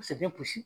Paseke i bɛ gosi